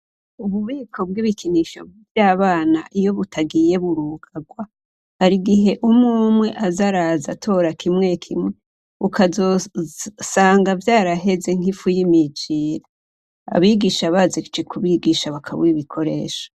Ububiko bw'ibikinisho vy'abana iyo butagiye burugarwa, hari igihe umw'umwe aza araza atora kimwe kimwe ukazosanga vyaraheze nkifu yimijire, abigisha baje kubigisha bakabura ibikoresho.